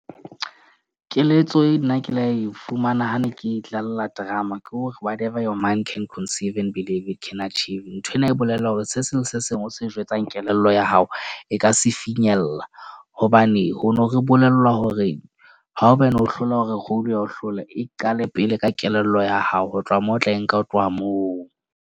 Keletso eo nna ke la e fumana, ha ne ke tla idlalla drama kore whatever your mind can conceive and believe you can achieve. Nthwena e bolela hore se seng se seng o se jwetsang kelello ya hao e ka se finyella. Hobane ho ne re bolellwa hore hao bane ho hlolwa hore role ya o hlola, e qale pele ka kelello ya hao. Ho tloha moo o tla e nka ho tloha moo.